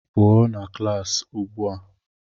pụọ na klaasị ugbu a!